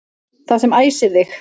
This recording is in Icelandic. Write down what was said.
Það sem æsir þig